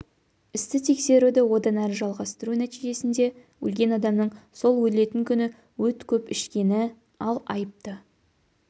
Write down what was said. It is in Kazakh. істі тексеруді одан әрі жалғастыру нәтижесінде өлген адамның сол өлетін күні өт көп ішкені ал айыпты